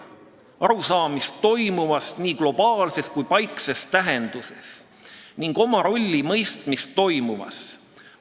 Arusaamist toimuvast nii globaalses kui ka paikses tähenduses ning oma rolli mõistmist toimuvas.